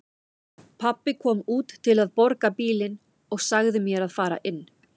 Pabbi kom út til að borga bílinn og sagði mér að fara inn.